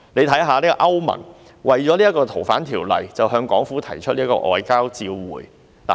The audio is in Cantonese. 大家看一看歐盟，為了《逃犯條例》向港府提出外交照會。